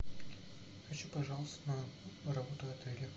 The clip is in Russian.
хочу пожаловаться на работу отеля